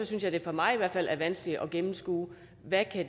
synes jeg det for mig i hvert fald er vanskeligt at gennemskue hvad